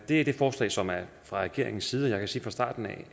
det er det forslag som er fra regeringens side og jeg kan sige fra starten af